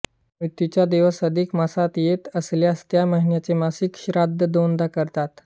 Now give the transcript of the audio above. मृत्यूचा दिवस अधिक मासात येत असल्यास त्या महिन्याचे मासिक श्राद्ध दोनदा करतात